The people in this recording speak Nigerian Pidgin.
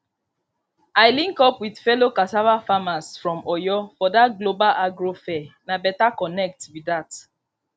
i link up with fellow cassava farmers from oyo for that global agro fair na better connect be that